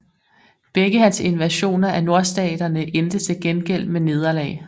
Begge hans invasioner af Nordstaterne endte til gengæld med nederlag